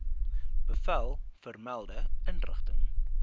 bevel vermelde inrigting